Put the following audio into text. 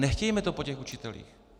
Nechtějme to po těch učitelích.